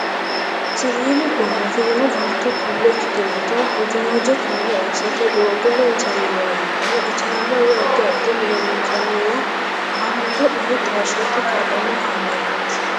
Siwiilu gooma afirino baatto tullo ikkitinota hojooje taalo assate, doogo loonsanniwanna ijaara woy addi addi mine loonsanniwa baatto ume taashshate kaa'lanno kaameelaati.